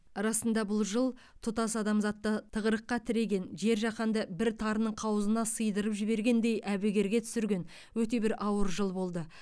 расында бұл жыл тұтас адамзатты тығырыққа тіреген жер жаһанды бір тарының қауызына сыйдырып жібергендей әбігерге түсірген өте бір ауыр жыл болды